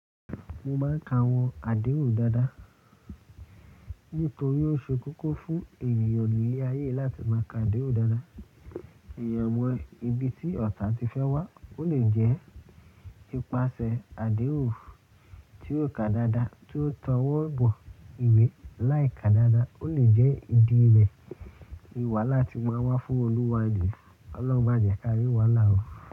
Mo máa ń ka àwọn àdéhùn dáadáa nítorí ó ṣe kókó fún ènìyàn ní ilé ayé láti máa ka àdéhùn dáadáa. Ìyẹ̀wò ibi tí ọ̀tá ti fẹ́ wá, ó lè jẹ́ ipasẹ̀ àdéhùn tí ó ká dáadáa tí ó tọwọ́ bọ ìwé láì ká dáadáa, ó lè jẹ́ ìdí rẹ̀ ni wàláà tì máa wá fún olùwáre. Olorun jẹ́ kí a rí wàhala.